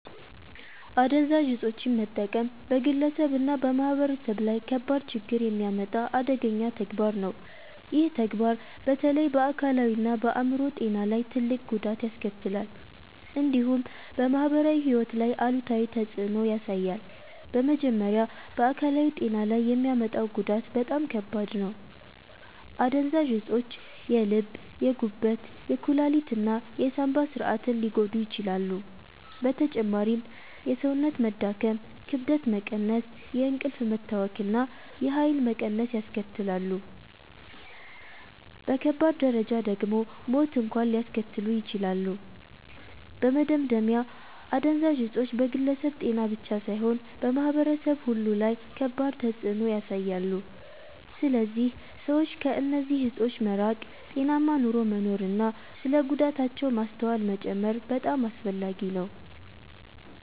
አደንዛዥ እፆችን መጠቀም በግለሰብ እና በማህበረሰብ ላይ ከባድ ችግኝ የሚያመጣ አደገኛ ተግባር ነው። ይህ ተግባር በተለይ በአካላዊ እና በአይምሮ ጤና ላይ ትልቅ ጉዳት ያስከትላል፣ እንዲሁም በማህበራዊ ሕይወት ላይ አሉታዊ ተፅዕኖ ያሳያል። በመጀመሪያ በአካላዊ ጤና ላይ የሚያመጣው ጉዳት በጣም ከባድ ነው። አደንዛዥ እፆች የልብ፣ የጉበት፣ የኩላሊት እና የሳንባ ስርዓትን ሊጎዱ ይችላሉ። በተጨማሪም የሰውነት መዳከም፣ ክብደት መቀነስ፣ የእንቅልፍ መታወክ እና የኃይል መቀነስ ያስከትላሉ። በከባድ ደረጃ ደግሞ ሞት እንኳን ሊያስከትሉ ይችላሉ። በመደምደሚያ አደንዛዥ እፆች በግለሰብ ጤና ብቻ ሳይሆን በማህበረሰብ ሁሉ ላይ ከባድ ተፅዕኖ ያሳያሉ። ስለዚህ ሰዎች ከእነዚህ እፆች መራቅ፣ ጤናማ ኑሮ መኖር እና ስለ ጉዳታቸው ማስተዋል መጨመር በጣም አስፈላጊ ነው።